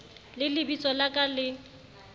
le lebitso la ka le